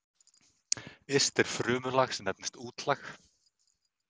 yst er frumulag sem nefnist útlag